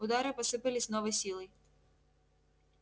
удары посыпались с новой силой